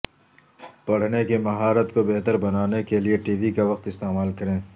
پڑھنے کی مہارت کو بہتر بنانے کے لئے ٹی وی کا وقت استعمال کریں